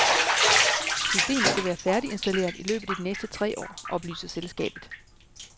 Systemet skal være færdiginstalleret i løbet af de næste tre år, oplyser selskabet.